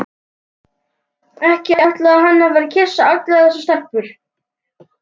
Ekki ætlaði hann að fara að kyssa allar þessar stelpur.